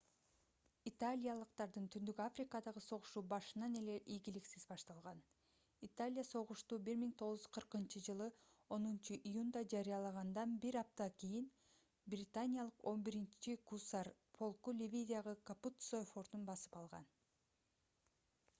италиялыктардын түндүк африкадагы согушу башынан эле ийгиликсиз башталган италия согушту 1940-ж 10-июнда жарыялагандан бир аптада кийин британиялык 11-гусар полку ливиядагы капуццо фортун басып алган